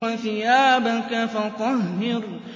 وَثِيَابَكَ فَطَهِّرْ